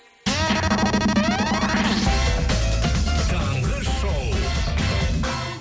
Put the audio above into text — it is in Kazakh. таңғы шоу